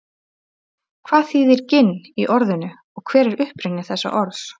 hvað þýðir ginn í orðinu og hver er uppruni þessa orðs